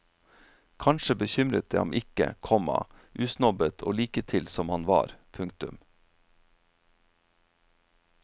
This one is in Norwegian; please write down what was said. Kanskje bekymret det ham ikke, komma usnobbet og liketil som han var. punktum